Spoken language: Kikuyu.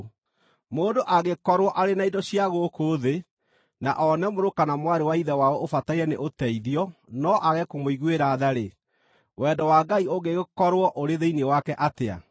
Mũndũ angĩkorwo arĩ na indo cia gũkũ thĩ, na one mũrũ kana mwarĩ wa ithe wao ũbataire nĩ ũteithio no aage kũmũiguĩra tha-rĩ, wendo wa Ngai ũngĩgĩkorwo ũrĩ thĩinĩ wake atĩa?